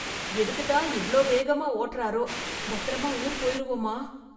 எதுக்குத்தான் இவ்ளோ வேகமா ஓட்டறாரோ, பத்திரமா ஊர் போயிருவமா?